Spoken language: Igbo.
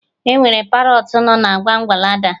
Enwere Parọtụ no na Wondalandi